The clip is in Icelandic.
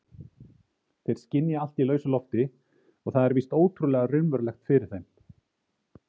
Þeir skynja allt í lausu lofti og það er víst ótrúlega raunverulegt fyrir þeim.